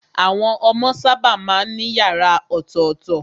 Àwọn ọmọ sábà má ń ní yàrá ọ̀tọ̀tọ̀.